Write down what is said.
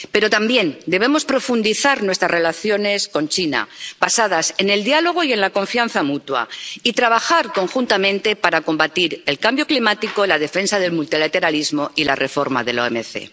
Pero también debemos profundizar nuestras relaciones con China, basadas en el diálogo y en la confianza mutua, y trabajar conjuntamente para combatir el cambio climático, la defensa del multilateralismo y la reforma de la OMC.